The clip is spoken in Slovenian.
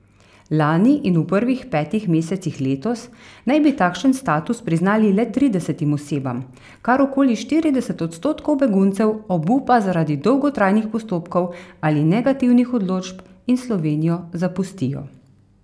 Lani in v prvih petih mesecih letos naj bi takšen status priznali le tridesetim osebam, kar okoli štirideset odstotkov beguncev obupa zaradi dolgotrajnih postopkov ali negativnih odločb in Slovenijo zapustijo.